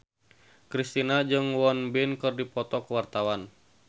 Kristina jeung Won Bin keur dipoto ku wartawan